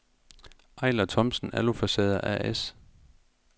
Eiler Thomsen Alufacader A/S